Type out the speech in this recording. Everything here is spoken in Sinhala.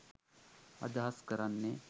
අදහස් කරන්නේ